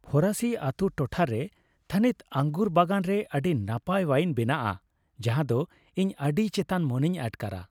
ᱯᱷᱚᱨᱟᱥᱤ ᱟᱛᱩ ᱴᱚᱴᱷᱟᱨᱮ ᱨᱮ ᱛᱷᱟᱹᱱᱤᱛ ᱟᱝᱜᱩᱨ ᱵᱟᱜᱟᱱ ᱨᱮ ᱟᱹᱰᱤ ᱱᱟᱯᱟᱭ ᱳᱣᱟᱭᱤᱱ ᱵᱮᱱᱟᱜᱼᱟ ᱡᱟᱦᱟᱸ ᱫᱚ ᱤᱧ ᱟᱹᱰᱤ ᱪᱮᱛᱟᱱ ᱢᱚᱱᱮᱧ ᱟᱴᱠᱟᱨᱟ ᱾